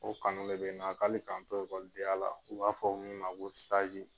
O kanu de be n na ali kan n to ekɔlidenya la u b'a fɔ min ma ko sazi